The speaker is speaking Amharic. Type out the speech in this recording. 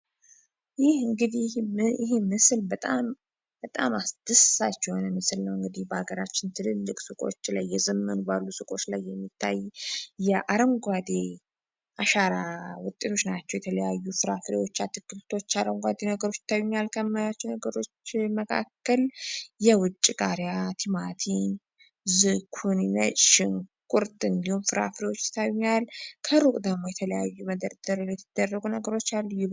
ይህ እንግዲህ መሄድ ምስል በጣም አስደሳች በአገራችን ትልልቅ ሱቆች ላይ የዘመኑ ባሉ ሱቆች ላይ የሚታይ የአረንጓዴ አሻራ ውጤቶች ናችሁ የተለያዩ ስርዓቶች አትክልቶ አረንጓዴ ነገሮች መካከል የውጭ ማቴቁትራን ከሩቅ የተለያዩ ነገሮች አሉ